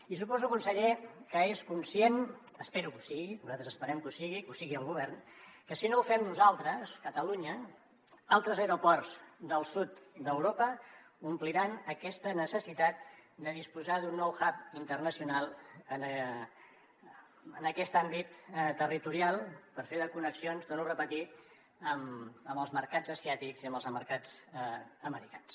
i suposo conseller que és conscient espero que ho sigui nosaltres esperem que ho sigui que ho sigui el govern que si no ho fem nosaltres catalunya altres aeroports del sud d’europa ompliran aquesta necessitat de disposar d’un nou hub internacional en aquest àmbit territorial per fer les connexions ho torno a repetir amb els mercats asiàtics i amb els mercats americans